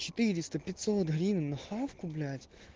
четыреста пятьсот гривен на хавку блять